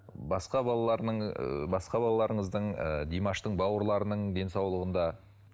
басқа ы басқа балаларыңыздың ы димаштың бауырларының денсаулығында